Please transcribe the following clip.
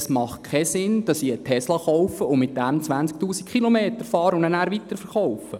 Es macht keinen Sinn, wenn ich einen Tesla kaufe, damit 20 000 Kilometer fahre und ihn nachher weiterverkaufe.